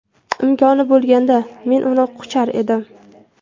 Imkoni bo‘lganda, men uni quchar edim.